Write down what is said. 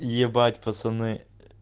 ебать пацаны